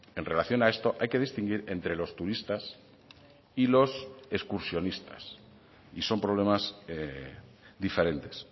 en relación a esto hay que distinguir entre los turistas y los excursionistas y son problemas diferentes